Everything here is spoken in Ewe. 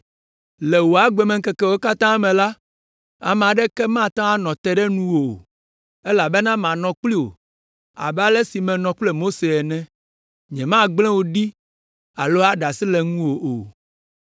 Le wò agbemeŋkekewo katã me la, ame aɖeke mate ŋu anɔ te ɖe nuwò o, elabena manɔ kpli wò abe ale si menɔ kple Mose ene. Nyemagblẽ wò ɖi alo aɖe asi le ŋuwò o.